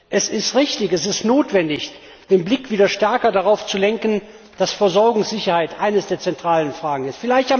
Es ist richtig und notwendig, den Blick wieder stärker darauf zu lenken, dass Versorgungssicherheit eine der zentralen Fragen ist.